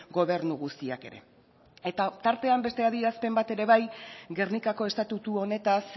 gobernu guztiak ere eta tartean beste adierazpen bat ere bai gernikako estatutu honetaz